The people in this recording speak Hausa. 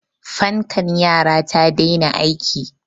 fankar yara ta daina aiki